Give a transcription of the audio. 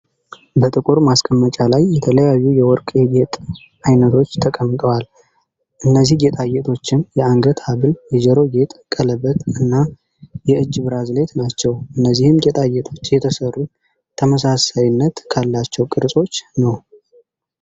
በጥቁር ማስቀመጫ ላይ የተለያዩ የወርቅ የጌጥ አይነቶች ተቀምጠዋል። እነዚህ ጌጣጌጦችም የአንገት ሃብል፣ የጆሮ ጌጥ፣ ቀለበት እና የእጅ ብራዝሌት ናቸው። እነዚህም ጌጣጌጦች የተሰሩት ተመሳሳይነት ካላቸው ቅርጾች ነው።